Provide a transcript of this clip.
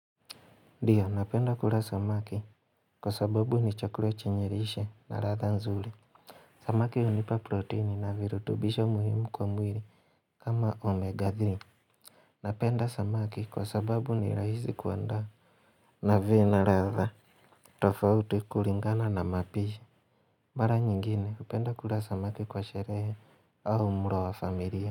Ndiyo napenda kula samaki kwa sababu ni chakula chenye lishe na ladha nzuri Samaki hunipa proteini na virutubisho muhimu kwa mwiri kama omega 3 Napenda samaki kwa sababu ni rahizi kuanda na vina ratha tofauti kuringana na mapishi Mara nyingine kupenda kula samaki kwa shehre au mro wa familia.